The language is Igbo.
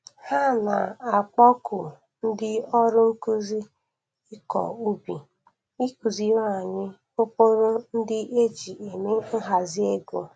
Ha na-akpọku ndi ọrụ nkuzi ikọ ubi ikụziri anyị ụkpụrụ ndi e ji eme nhazi ego